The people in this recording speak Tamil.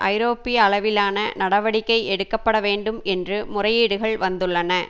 ஐரோப்பிய அளவிலான நடவடிக்கை எடுக்க பட வேண்டும் என்று முறையீடுகள் வந்துள்ளன